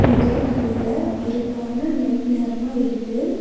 இங்க நல்லா இருட்டான நைட் நேரமா இருக்கு.